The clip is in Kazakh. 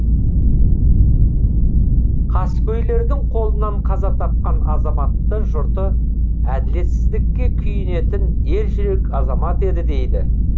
қаскөйлердің қолынан қаза тапқан азаматты жұрты әділетсіздікке күйінетін ержүрек азамат еді дейді